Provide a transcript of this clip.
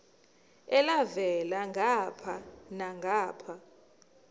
elhavela ngapha nangapha